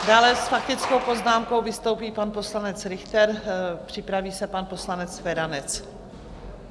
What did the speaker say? Dále s faktickou poznámkou vystoupí pan poslanec Richter, připraví se pan poslanec Feranec.